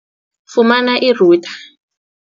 Fumana i-router.